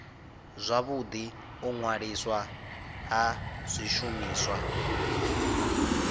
zwavhudi u ṅwaliswa ha zwishumiswa